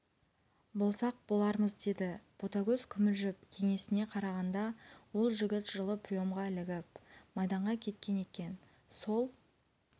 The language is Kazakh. болсақ болармыз деді ботагөз күмілжіп кеңесіне қарағанда ол жігіт жылы приемға ілігіп майданға кеткен екен сол